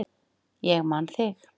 Ég man þig